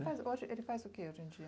Ele faz o que hoje em dia?